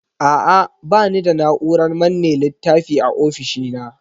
A'a, ba ni da na'urar manne littafi a ofishina.